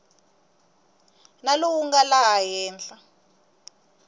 na lowu nga laha henhla